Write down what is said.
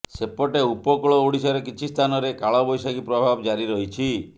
ସେପଟେ ଉପକୂଳ ଓଡିଶାରେ କିଛି ସ୍ଥାନରେ କାଳବୈଶାଖୀ ପ୍ରଭାବ ଜାରି ରହିଛି